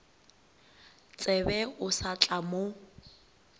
tsebe o sa tla mo